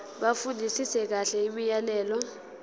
bafundisise kahle imiyalelo